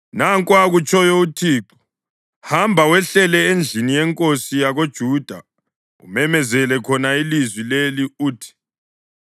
Nanku akutshoyo uThixo: “Hamba wehlele endlini yenkosi yakoJuda umemezele khona ilizwi leli uthi,